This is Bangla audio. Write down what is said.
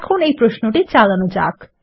এখন এই প্রশ্নটি চালানো যাক